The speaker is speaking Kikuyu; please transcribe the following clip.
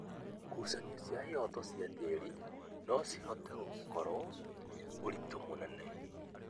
ngucanio cia ihoto cia tĩri no cihote gũkorũo ũritũ mũnene.